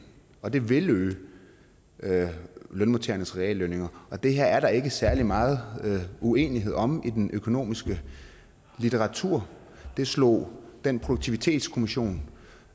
og det vil øge lønmodtagernes reallønninger det her er der ikke særlig meget uenighed om i den økonomiske litteratur det slog den produktivitetskommission